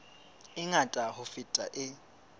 e ngata ho feta e